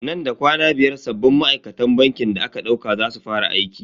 Nan da kwana biyar sabbin ma'aikatan bankin da aka dauka za su fara aiki.